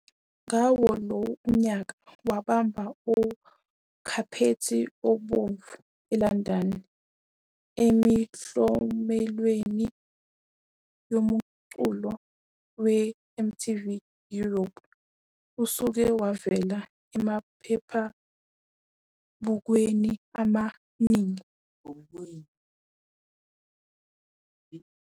Ngawo lowo nyaka wabamba ukhaphethi obomvu eLondon emiklomelweni yomculo we-MTV European. Useke wavela emaphephabhukwini amaningi akuleli afana ne-ElleSA Magazine, True Love, Bona nokunye. Uyaziwa ngomqondo wakhe wemfashini nangesitayela sesibindi.